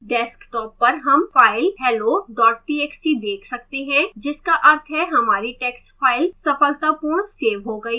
desktop पर हम file hello txt देख सकते हैं जिसका अर्थ है हमारी txt file सफलतापूर्ण सेव हो गई है